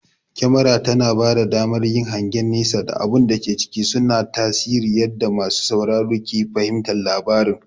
Kyamara tana bada damar yin hangen nesa da abun da ke ciki, suna tasiri yadda masu sauraro ke fahimtar labarin.